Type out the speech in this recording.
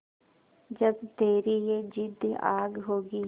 जब तेरी ये जिद्द आग होगी